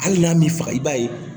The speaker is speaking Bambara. Hali n'a m'i faga i b'a ye